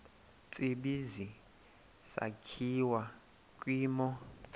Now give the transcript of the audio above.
tsibizi sakhiwa kwimo